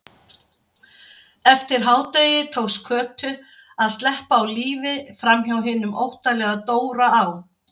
Eftir hádegi tókst Kötu að sleppa á lífi framhjá hinum óttalega Dóra á